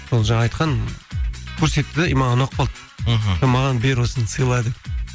сол жаңағы айтқан көрсетті де и маған ұнап қалды мхм маған бер осыны сыйла деп